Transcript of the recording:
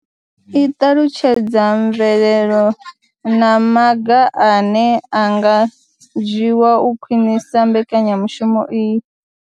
I ṱalutshedza mvelelo na maga ane a nga dzhiwa u khwinisa mbekanyamushumo iyi.